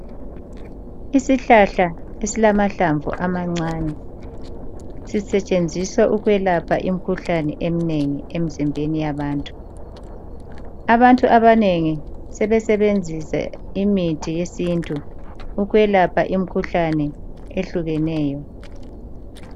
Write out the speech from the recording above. Isihlahla esilamahlamvu amancane. Sisetshenziswa ukwelapha imikhuhlane eminengi emizimbeni yabantu. Abantu abanengi basebenzisa imithi yesintu ukwelapha imikhuhlane ehlukeneyo.